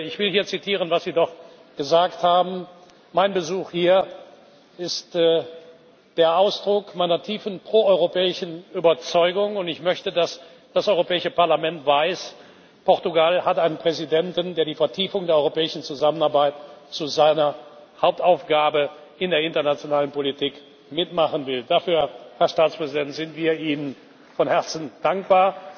Ich will hier zitieren, was Sie dort gesagt haben Mein Besuch hier ist der Ausdruck meiner tiefen proeuropäischen Überzeugung, und ich möchte, dass das Europäische Parlament weiß Portugal hat einen Präsidenten, der die Vertiefung der europäischen Zusammenarbeit zu seiner Hauptaufgabe in der internationalen Politik mit machen will. Dafür, Herr Staatspräsident, sind wir Ihnen von Herzen dankbar.